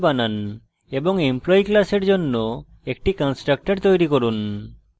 এবং employee class জন্য একটি constructor তৈরী করুন